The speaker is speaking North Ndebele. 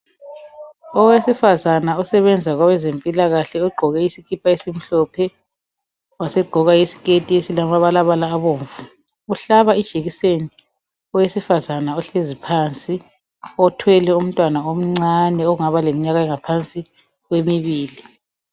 Owesifazana osebenza kwabezempilakahle ogqoke isikipa esimhlophe wasegqoka isiketi esilamabalabala abomvu uhlaba ijekiseni owesifazana ohlezi phansi othwele umntwana omncane ongaba leminyaka engaphansi kwemibili.